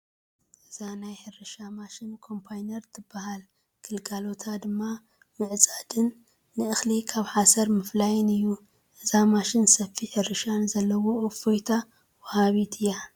እዛ ናይ ሕርሻ ማሽን ኮምባይነር ትበሃል፡፡ ግልጋሎታ ድማ ምዕፅድን ንእኽሊ ካብ ሓሰር ምፍላን እዩ፡፡ እዛ ማሽን ሰፊሕ ሕርሻ ንዘለዎ እፎይታ ወሃቢት እያ፡፡